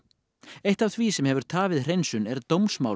eitt af því sem hefur tafið hreinsun er dómsmál